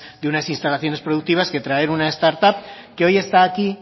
de unas instalaciones productivas que a traer un start up que hoy está aquí